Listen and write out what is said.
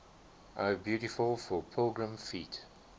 o beautiful for pilgrim feet